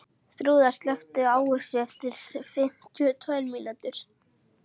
Þrúða, slökktu á þessu eftir fimmtíu og tvær mínútur.